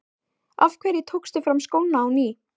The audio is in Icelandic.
Af hverju tókstu fram skóna á ný?